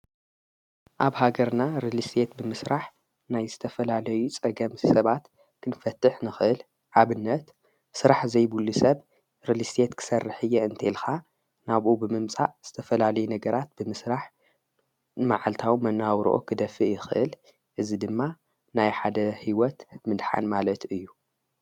ኣብ ሃገርና ርሊስቴት ብምሥራሕ ናይ ዝተፈላለዩ ፀገምስ ሰባት ኽንፈትሕ ንኽእል፣፡ ኣብነት ሥራሕ ዘይብሉ ሰብ ርሊስቴት ክሠርሕ እየ እንተኢልኻ ናብኡ ብምምጻእ ዝተፈላለዩ ነገራት ብምስራሕ መዓልታዊ መነባብሮኦም ኽደፊእ ይኽእል፡፡ እዝ ድማ ናይ ሓደ ህይወት ምድሓን ማለት እዩ፡፡